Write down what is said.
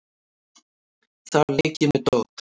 Þar leik ég með dót.